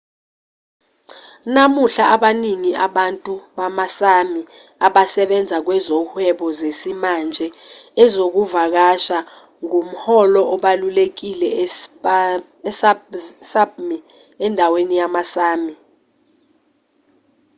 namuhla abaningi abantu bama-sámi abasebenza kwezohwebo zesimanje. ezokuvakasha ngumholo obalulekile e-sápmi endaweni yama-sámi